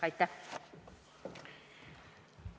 Aitäh!